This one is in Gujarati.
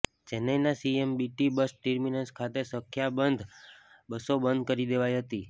ચેન્નાઇના સીએમબીટી બસ ર્ટિમનસ ખાતે સંખ્યાબંધ બસો બંધ કરી દેવાઇ હતી